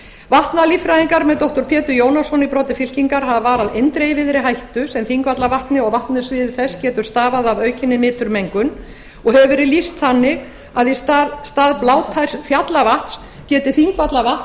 þingvallavatns vatnalíffræðingar með doktor pétur jónsson í broddi fylkingar hafa varað eindregið við þeirri hættu sem þingvallavatni og vatnasviði þess getur stafað af aukinni niturmengun og hefur verið lýst þannig að í stað blátærs fjallavatns geti þingvallavatn